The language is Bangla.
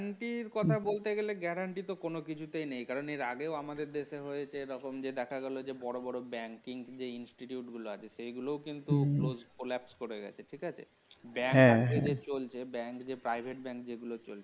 guarantee র কথা বলতে গেলে guarantee তো কোন কিছুতেই নেই কারণ এর আগেও আমাদের দেশে হয়েছে এরকম যে দেখা গেল বড় বড় banking যে Institute গুলা আছে সেগুলো কিন্তু প্রচুর collapse করে গেছে ঠিক আছে bank হ্যাঁ হ্যাঁ bank যে private bank যেগুলো চলছে